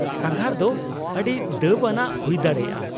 -ᱥᱟᱸᱜᱷᱟᱨ ᱫᱚ ᱟᱹᱰᱤ ᱫᱟᱹᱵᱽᱟᱱᱟᱜ ᱦᱩᱭ ᱫᱟᱲᱮᱭᱟᱜᱼᱟ ᱾